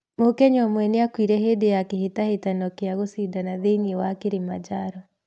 Mũkenya ũmwe nĩ akuire hĩndĩ ya kĩhĩtahĩtano kĩa gũcindana thĩinĩ wa Kilimanjaro